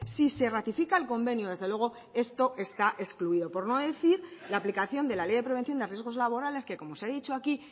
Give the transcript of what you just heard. si se ratifica el convenio desde luego esto está excluido por no decir la aplicación de la ley de prevención de riesgos laborales que como se ha dicho aquí